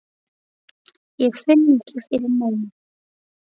Ég finn ekki fyrir neinu.